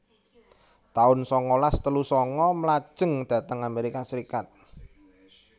taun sangalas telu sanga Mlajeng dhateng Amerika Serikat